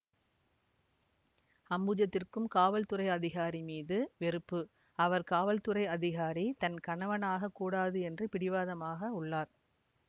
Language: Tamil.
அம்புஜதிற்கும் காவல்துறை அதிகாரி மீது வெறுப்பு அவர் காவல்துறை அதிகாரி தன் கணவனாக கூடாது என்று பிடிவாதமாக உள்ளார்